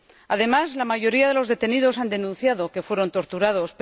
Además, la mayoría de los detenidos han denunciado que fueron torturados.